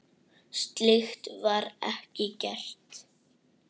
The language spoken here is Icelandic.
Slíkt var ekki gert.